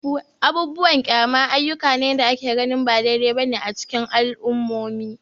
Abubuwan kyama ayyuka ne da ake ganin ba daidai ba ne a cikin al'ummomi.